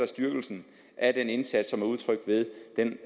styrkelsen af den indsats som er udtrykt ved den